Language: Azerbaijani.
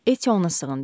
Etti ona sığındı.